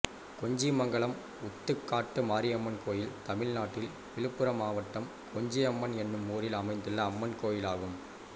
கொஞ்சிமங்கலம் ஊத்துக்காட்டு மாரியம்மன் கோயில் தமிழ்நாட்டில் விழுப்புரம் மாவட்டம் கொஞ்சிமங்கலம் என்னும் ஊரில் அமைந்துள்ள அம்மன் கோயிலாகும்